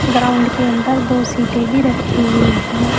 Ground के अंदर दो सीटें भी रखी हुई हैं।